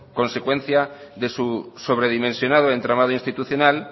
consecuencia de su sobredimensionado entramado institucional